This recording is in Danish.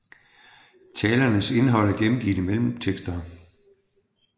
Talernes indhold er gengivet i mellemtekster